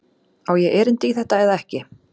Á ég erindi í þetta eða ekki?